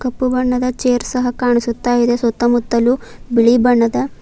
ಕಪ್ಪು ಬಣ್ಣದ ಚೇರ್ ಸಹ ಕಾಣಿಸುತ್ತ ಇದೆ ಸುತ್ತಮುತ್ತಲು ಬಿಳಿ ಬಣ್ಣದ --